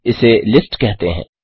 इसे लिस्ट कहते हैं